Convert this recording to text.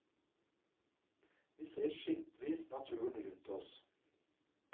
Vi ser skimtvis naturen rundt oss.